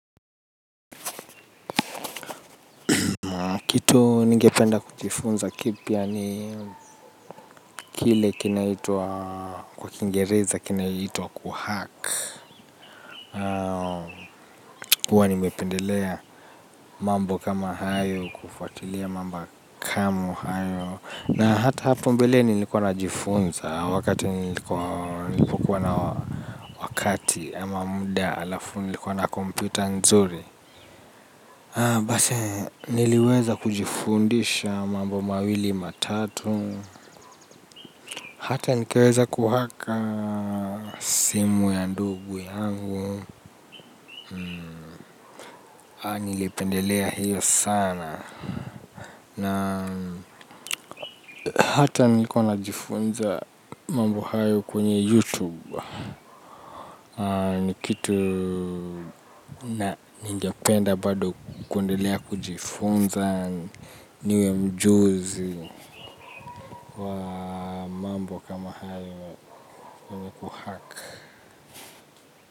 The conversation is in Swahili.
Kitu ningependa kujifunza kipya ni kile kinaitwa kwa kingereza kinaitwa kuhack. Kwa nimependelea mambo kama hayo kufatilia mambo kama hayo. Na hata hapo mbelea nilikuwa na jifunza wakati nilikuwa na wakati ama munda alafu ni likuwa na komputa nzuri. Basi niliweza kujifundisha mambo mawili matatu. Hata nikeweza kuhack simu ya ndugu yangu. Nilipendelea hiyo sana. Na hata nilikuwa na jifunza mambo hayo kwenye YouTube. Ni kitu na ningependa bado kuendelea kujifunza. Niwe mjuzi wa mambo kama hayo kuhack.